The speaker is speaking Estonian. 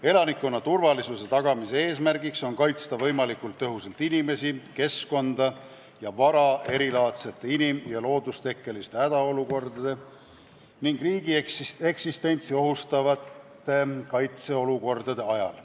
Elanikkonna turvalisuse tagamise eesmärk on kaitsta võimalikult tõhusalt inimesi, keskkonda ja vara erilaadsete inim- ja loodustekkeliste hädaolukordade ning riigi eksistentsi ohustavate kaitseolukordade ajal.